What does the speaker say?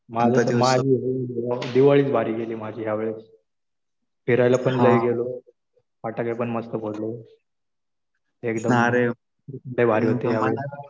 माझी तर दिवाळीच भारी गेली माझी ह्यावेळेस. फिरायला पण लय गेलो. फटाके पण मस्त फोडले. एकदम लय भारी होते.